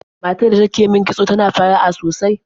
Matar da ke min kitso tana fara'a sosai.